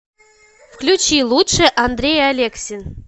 включи лучшее андрей алексин